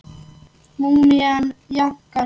Múmían jánkar.